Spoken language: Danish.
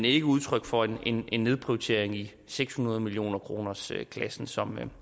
ikke udtryk for en en nedprioritering i seks hundrede millionerkronersklassen som